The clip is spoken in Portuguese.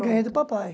Ganhei do papai.